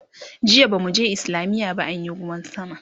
jiya bamu je islamiya ba anyi ruwan sama